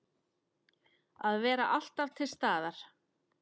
Að vera alltaf til staðar.